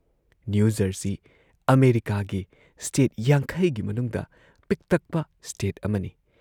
New Jersey ꯑꯃꯦꯔꯤꯀꯥꯒꯤ state ꯵꯰ ꯒꯤ ꯃꯅꯨꯡꯗ ꯄꯤꯛꯇꯛꯄ ꯁ꯭ꯇꯦꯠ ꯑꯃꯅꯤ ꯫